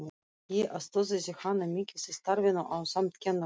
Ég aðstoðaði hana mikið í starfinu ásamt kennurunum